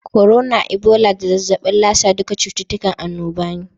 korona, ibola da zazzabin lasa duka cututtukan annoba ne.